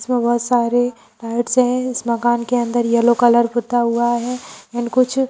इसमें बहुत सारे लाइट्स हैं इस मकान के अंदर येलो कलर पुता हुआ है एंड कुछ--